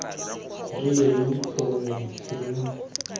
rileng gongwe seno ke kgwetlho